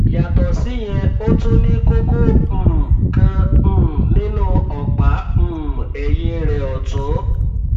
yàtọ síyẹn ó tún ní kókó um kan um nínú ọpá um ẹyìn rẹ ọtún